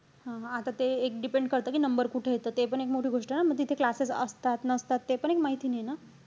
हा आता ते एक depend करत कि number कुठे येतो. ते पण एक मोठं गोष्ट आहे ना. मग तिथे classes असतात, नसतात ते पण एक माहिती नाहीये ना.